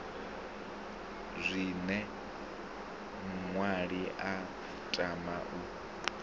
zwine muṅwali a tama u